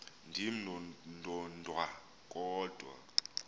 ndim ndodwa kodwa